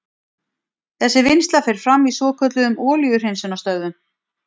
Þessi vinnsla fer fram í svokölluðum olíuhreinsunarstöðvum.